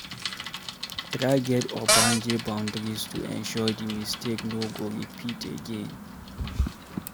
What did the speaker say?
Try get ogbonge boundaries to ensure di mistake no go repeat again